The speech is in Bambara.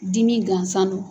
Dimi gansan no.